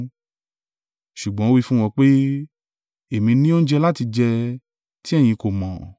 Ṣùgbọ́n ó wí fún wọn pé, “Èmi ní oúnjẹ láti jẹ, tí ẹ̀yin kò mọ̀.”